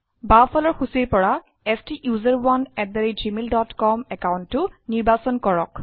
বাওঁফালৰ সূচীৰ পৰা STUSERONEgmail ডট কম একাউণ্টটো নিৰ্বাচন কৰক